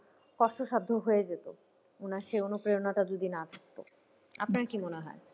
কষ্টসাধ্য হয়ে যেত ওনার সেই অনুপ্রেরণাটা যদি না থাকতো আপনার কি মনে হয়ে?